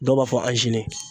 Dɔw b'a fɔ